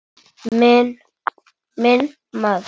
Minn maður.